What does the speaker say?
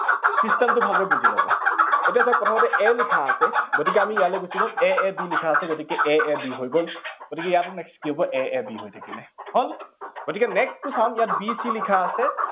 system টো ভালদৰে বুজি লব। এতিয়া চাওঁক, প্ৰথমতে a লিখা আছে, গতিকে আমি ইয়ালে গুচি গল, a a b লিখা আছে, গতিকে a a b হৈ গল, গতিকে next কি হব, a a b হৈ থাকিল। হল গতিকে next টো চাওঁ, ইয়াত b c লিখা আছে